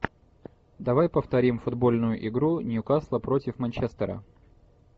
давай повторим футбольную игру ньюкасла против манчестера